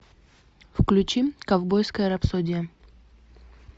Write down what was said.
включи ковбойская рапсодия